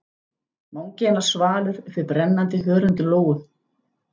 Vangi hennar svalur uppi við brennandi hörund Lóu.